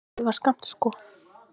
En hann dugar skammt sko.